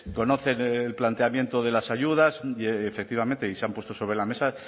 conocen el planteamiento de las ayudas efectivamente y se han puesto sobre la mesa